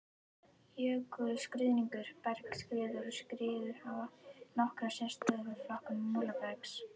Jökulruðningur, bergskriður og skriður hafa nokkra sérstöðu við flokkun molabergs.